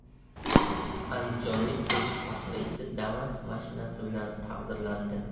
Andijonlik urush faxriysi Damas mashinasi bilan taqdirlandi.